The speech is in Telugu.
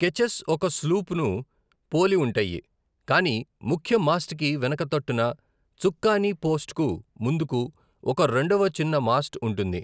కెచెస్ ఒక స్లూప్ను పోలి ఉంటాయి, కాని ముఖ్య మాస్ట్ కి వెనక తట్టున, చుక్కాని పోస్ట్కు ముందుకు, ఒక రెండవ చిన్న మాస్ట్ ఉంటుంది.